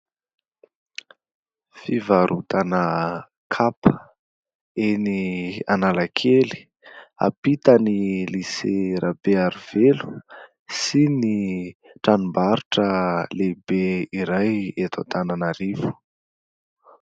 Fivarotana kapa, eny Analakely. Ampitan'ny Lisea Rabearivelo sy ny tranom-barotra lehibe iray eto Antananarivo.